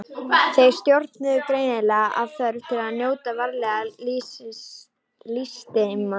Þeir stjórnuðust greinilega af þörf til að njóta veraldlegra lystisemda.